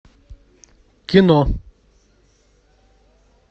кино